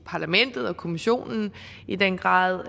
parlamentet og kommissionen i den grad